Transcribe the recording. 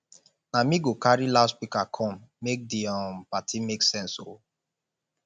na me go carry loudspeaker come make di um party make sense o